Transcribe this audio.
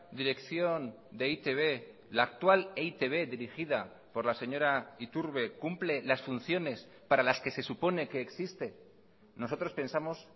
dirección de e i te be la actual e i te be dirigida por la señora iturbe cumple las funciones para las que se supone que existe nosotros pensamos